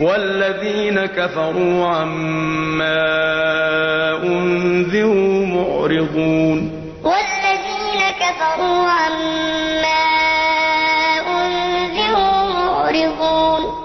وَالَّذِينَ كَفَرُوا عَمَّا أُنذِرُوا مُعْرِضُونَ